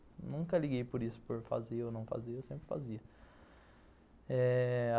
Eu nunca liguei por isso, por fazer ou não fazer, eu sempre fazia.